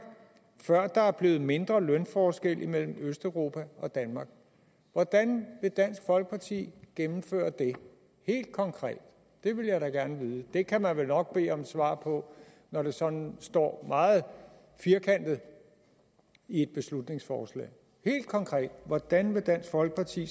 før der er blevet mindre lønforskel mellem østeuropa og danmark hvordan vil dansk folkeparti gennemføre det helt konkret det vil jeg da gerne vide det kan man vel nok bede om et svar på når det sådan står meget firkantet i beslutningsforslaget hvordan vil dansk folkeparti